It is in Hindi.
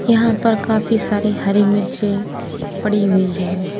यहां पर काफी सारी हरी मिर्चें पड़ी हुई है।